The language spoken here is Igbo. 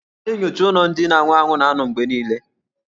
A na-enyocha ụlọ ndị na-anwụ anwụ na-anọ mgbe niile.